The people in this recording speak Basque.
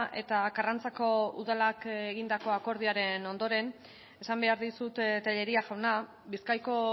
eta karrantzako udalak egindako akordioaren ondoren esan behar dizut tellería jauna bizkaiko